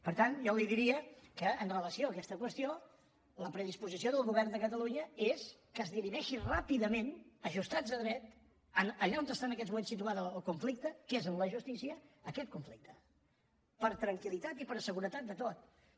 per tant jo li diria que amb relació a aquesta qüestió la predisposició del govern de catalunya és que es dirimeixi ràpidament ajustats a dret allà on està en aquests moments situat el conflicte que és en la justícia aquest conflicte per a tranquiltat de tots